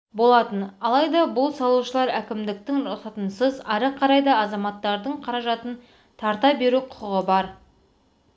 болатын алайда бұл салушылар әкімдіктің рұқсатынсыз ары қарай да азаматтардың қаражатын тарта беру құқығы бар